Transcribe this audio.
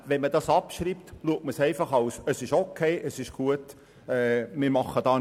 Wenn man das hier abschreibt, betrachtet man das einfach als okay und gut und tut nichts mehr dafür.